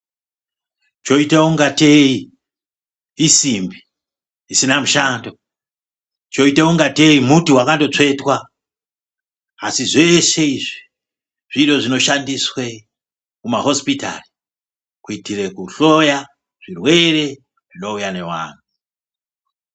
Choita kungatei isimbi isina mushando, choita kungatei muti wakandotsvetwa, asi zveshe izvi zviro zvinoshandiswe kuma hosipitari kuitire kuhloya zvirwere zvinouya nevanhu.